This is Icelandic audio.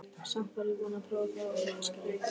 Samt var ég búin að prófa það og líka skilja.